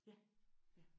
Ja